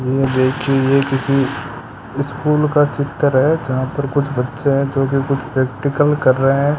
यह देखिए यह किसी स्कूल का चित्र है जहां पर कुछ बच्चे है जो कि कुछ प्रैक्टिकल कर रहे है।